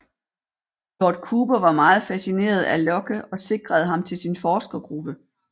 Lord Cooper var meget fascineret af Locke og sikrede ham til sin forskergruppe